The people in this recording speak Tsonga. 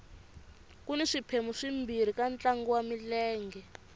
kuni swiphemu swimbirhi ka ntlangu wa milenge